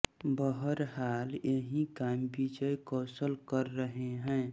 बहरहाल यही काम विजय कौशल कर रहे हैं